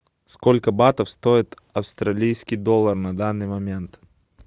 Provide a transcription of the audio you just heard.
сколько батов стоит австралийский доллар на данный момент